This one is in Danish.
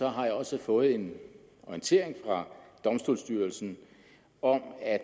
har jeg også fået en orientering fra domstolsstyrelsen om at